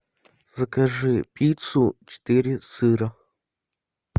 закажи пиццу четыре сыра